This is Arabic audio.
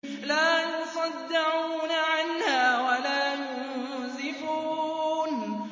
لَّا يُصَدَّعُونَ عَنْهَا وَلَا يُنزِفُونَ